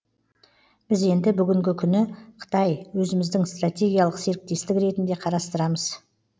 біз енді бүгінгі күні қытай өзіміздің стратегиялық серіктестік ретінде қарастырамыз